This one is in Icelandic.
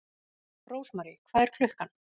Rósmary, hvað er klukkan?